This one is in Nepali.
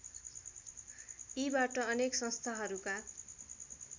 यीबाट अनेक संस्थाहरूका